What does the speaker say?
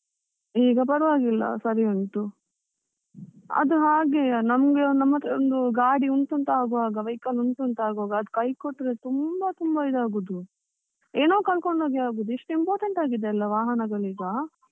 ಈಗ ಪರ್ವಾಗಿಲ್ಲ, ಸರಿ ಉಂಟು ಅದು ಹಾಗೆಯ ನಮ್ಗೆ ನಮತ್ರ ಒಂದು ಗಾಡಿ ಉಂಟು ಅಂತ ಆಗುವಾಗ vehicle ಉಂಟು ಅಂತ ಆಗುವಾಗ ಅದು ಕೈ ಕೊಟ್ರೆ ತುಂಬಾ ತುಂಬಾ ಇದಾಗುದು, ಏನೋ ಕಳ್ಕೊಂಡಾಗೆ ಅಗುದು ಎಷ್ಟು important ಆಗಿದೆ ಅಲ ವಾಹನಗಳು ಈಗ.